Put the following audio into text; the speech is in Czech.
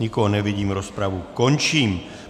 Nikoho nevidím, rozpravu končím.